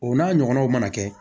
O n'a ɲɔgɔnnaw mana kɛ